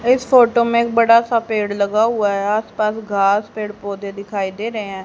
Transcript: इस फोटो में एक बड़ा सा पेड़ लगा हुआ है आस पास घास पेड़ पौधे दिखाई दे रहे--